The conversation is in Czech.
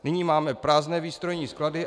Nyní máme prázdné výstrojní sklady.